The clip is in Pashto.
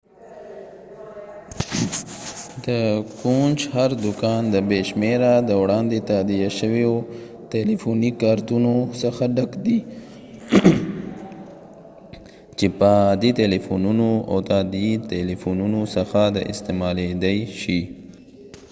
د کونج هر دوکان د بې شمیره د وړاندې تادیه شویو تلیفوني کارتونو څخه ډک دی چې په عادي تلیفونونو او د تادیې تلیفونونو څخه د استعمالیدای شي